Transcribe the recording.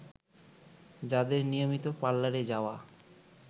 যাদের নিয়মিত পার্লারে যাওয়া